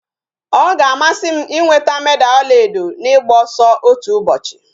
Ọ ga-amasị m ịnweta meda ọla edo n'ịgba ọsọ otu ụbọchị